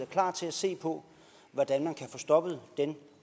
klar til at se på hvordan man kan få stoppet den